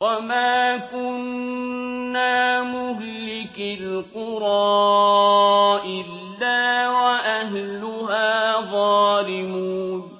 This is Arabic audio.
وَمَا كُنَّا مُهْلِكِي الْقُرَىٰ إِلَّا وَأَهْلُهَا ظَالِمُونَ